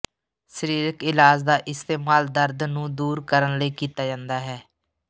ਸਰੀਰਕ ਇਲਾਜ ਦਾ ਇਸਤੇਮਾਲ ਦਰਦ ਨੂੰ ਦੂਰ ਕਰਨ ਲਈ ਕੀਤਾ ਜਾਂਦਾ ਹੈ